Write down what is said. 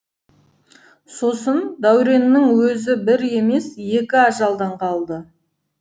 сосын дәуреннің өзі бір емес екі ажалдан қалды